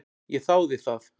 Ég þáði það.